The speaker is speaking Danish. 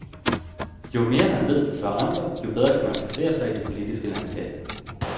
Jo mere man ved, før andre, jo bedre kan man placere sig i det politiske landskab.